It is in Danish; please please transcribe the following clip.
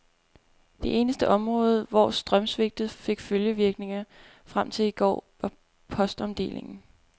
Det eneste område, hvor strømsvigtet fik følgevirkninger frem til i går, var postomdelingen.